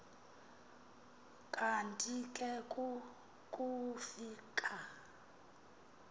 kanti ke kukufika